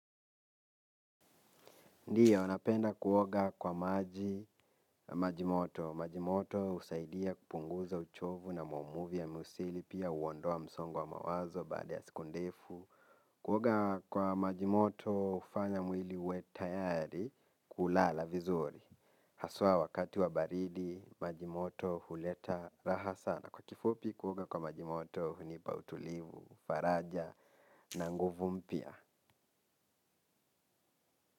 Ndiyo napenda kuoga kwa maji majimoto. Majimoto husaidia kupunguza uchovu na maumivu ya misuli pia huondoa msongo wa mawazo baada ya siku ndefu. Kuoga kwa majimoto hufanya mwili uwe tayari kulala vizuri. Haswa wakati wa baridi majimoto huleta raha sana. Kwa kifupi kuoga kwa maji moto hunipa utulivu faraja na nguvu mpya.